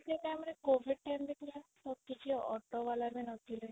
ସେଇ time ରେ COVID time ରେ ପୁରା କିଛି auto ଵାଲା ବି ନଥିଲେ